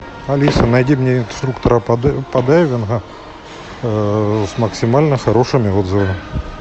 алиса найди мне инструктора по дайвингу с максимально хорошими отзывами